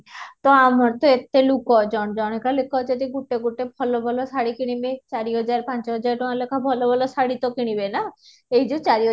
ତ ଆମର ତ ଏତେ ଲୋକ ଜଣେ କା ଲେଖା ଯଦି ଗୋଟେ ଗୋଟେ ଭଲ ଭଲ ଶାଢୀ କିଣିବେ ଚାରିହଜାର ପାଞ୍ଚହଜାର ଟଙ୍କା ଲେଖାଏ ଭଲ ଭଲ ଶାଢୀ ତ କିଣିବେ ନା ଈଏ ଚାରି ହଜାର